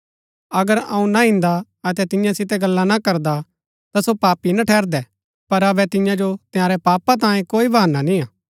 अगर अऊँ ना इन्दा अतै तियां सितै गल्ला ना करदा ता सो पापी ना ठहरदै पर अबै तियां जो तंयारै पापा तांयें कोई बहाना निय्आ